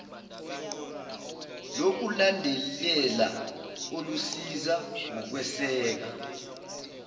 lokulandelela olusiza ngokweseka